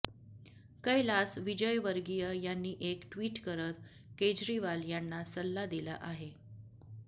कैलास विजयवर्गीय यांनी एक ट्वीट करत केजरीवाल यांना सल्ला दिला आहे